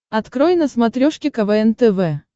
открой на смотрешке квн тв